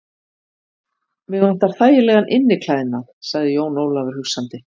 Mig vantar þægilegan inniklæðnað, sagði Jón Ólafur hugsandi.